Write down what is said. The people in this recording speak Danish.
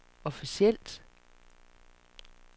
officielt